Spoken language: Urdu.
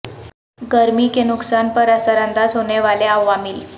گرمی کے نقصان پر اثر انداز ہونے والے عوامل